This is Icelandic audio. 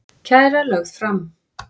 Kæra lögð fram